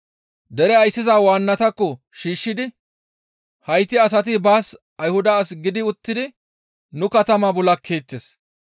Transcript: Dere ayssiza waannatakko shiishshidi, «Hayti asati baas Ayhuda as gidi uttidi nu katamaa bul7akeettes;